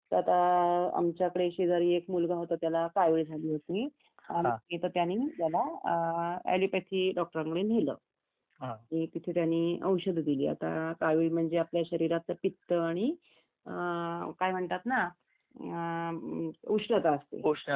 तर आता आमच्या शेजारी एक मुलगा होता त्याला कावीळ झाली होती त्यांनी त्याला काय ॲलोपॅथी डॉक्टरांकडे नेल तेथे त्यांनी औषद दिली आणि कावीळ म्हणजे आपल्या शरीरात पित्त आणि काय म्हणतात ना उष्णता